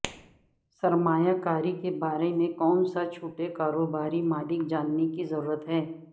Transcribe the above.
سرمایہ کاری کے بارے میں کون سا چھوٹے کاروباری مالک جاننے کی ضرورت ہے